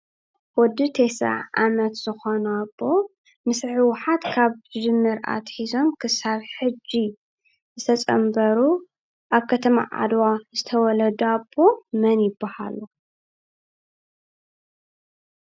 ወዲ 90 ዓመት ዝኾኑ ኣቦ ምስ ህወሓት ካብ እትጅምር ኣትሒዞም ክሳብ ሕጂ ዝተፀንበሩ ኣብ ከተማ ዓድዋ ዝተወለደ ኣቦ መን ይብሃል።